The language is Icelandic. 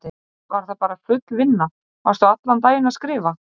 Hrund: Var það bara full vinna, varstu allan daginn að skrifa?